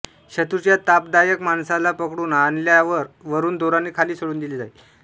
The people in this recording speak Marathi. शत्रूच्या तापदायक माणसाला पकडून आणल्यावर वरून दोराने खाली सोडून दिले जाई